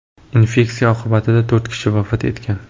Infeksiya oqibatida to‘rt kishi vafot etgan .